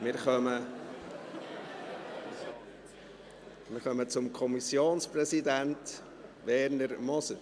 Wir kommen zum Kommissionspräsidenten, Werner Moser.